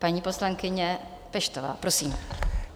Paní poslankyně Peštová, prosím.